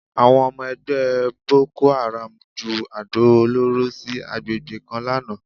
Àwọn ọmọ ẹgbẹ́ bokoáràm ju àdó olóró sí àgbègbè kan lánàá